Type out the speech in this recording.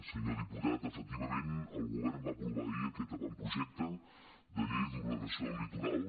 senyor diputat efectivament el govern va aprovar ahir aquest avantprojecte de llei d’ordenació del litoral